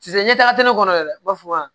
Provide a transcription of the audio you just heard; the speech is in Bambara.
Sisan i ɲɛtaga tɛ ne kɔnɔ dɛ ne b'a fɔ wa